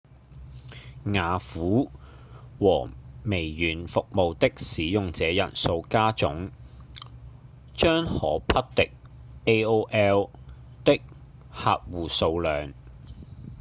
雅虎和微軟服務的使用者人數加總將可匹敵 aol 的客戶數量